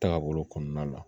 Taga bolo kɔnɔna la